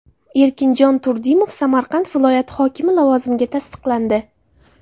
Erkinjon Turdimov Samarqand viloyati hokimi lavozimiga tasdiqlandi.